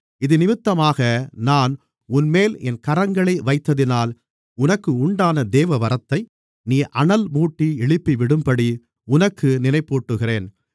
இதினிமித்தமாக நான் உன்மேல் என் கரங்களை வைத்ததினால் உனக்கு உண்டான தேவ வரத்தை நீ அனல்மூட்டி எழுப்பிவிடும்படி உனக்கு நினைப்பூட்டுகிறேன்